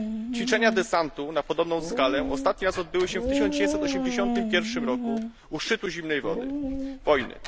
Ćwiczenia desantu na podobną skalę ostatni raz odbyły się w 1981 roku u szczytu zimnej wojny.